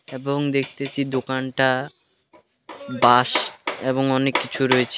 এবং দেখতেছি দোকানটা বাঁশ এবং অনেক কিছু রয়েছে।